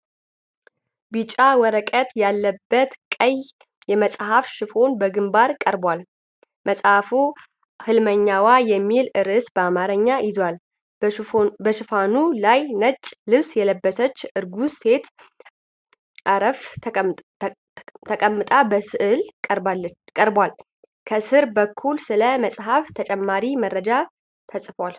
ቢጫ ወረቀት ያለበት ቀይ የመጽሐፍ ሽፋን በግንባር ቀርቧል። መጽሐፉ 'ሕልመኛዋ' የሚል ርዕስ በአማርኛ ይዟል። በሽፋኑ ላይ ነጭ ልብስ የለበሰች እርጉዝ ሴት አርፋ ተቀምጣ በሥዕል ቀርቧል። ከስር በኩል ስለ መጽሐፉ ተጨማሪ መረጃ ተጽፏል።